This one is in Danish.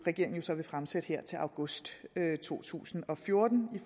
så vil fremsætte her til august to tusind og fjorten i